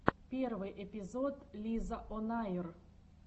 первый эпизод лизаонайр